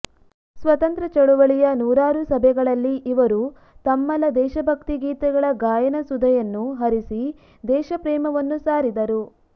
ಸ್ವತಂತ್ರ ಚಳುವಳಿಯ ನೂರಾರು ಸಭೆಗಳಲ್ಲಿ ಇವರು ತಮ್ಮಲ ದೇಶಭಕ್ತಿಗೀತೆಗಳ ಗಾಯನ ಸುಧೆಯನ್ನು ಹರಿಸಿ ದೇಶಪ್ರೇಮವನ್ನು ಸಾರಿದರು